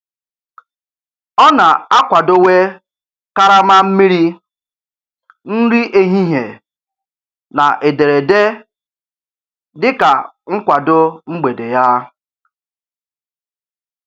Ọ na-akwadowe karama mmiri, nri ehihie, na ederede dịka nkwado mgbede ya.